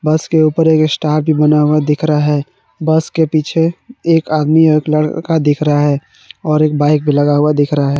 बस के ऊपर एक स्टार भी बना हुआ दिख रहा है बस के पीछे एक आदमी एक लड़का दिख रहा है और एक बाइक भी लगा हुआ दिख रहा है।